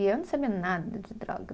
E eu não sabia nada de droga.